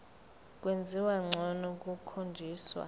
kwenziwa ngcono kukhonjiswa